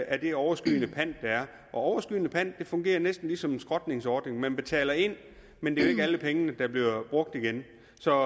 af den overskydende pant der er og overskydende pant fungerer næsten ligesom en skrotningsordning man betaler ind men det er ikke alle pengene der bliver brugt igen så